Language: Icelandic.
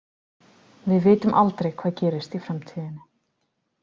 Við vitum aldrei hvað gerist í framtíðinni.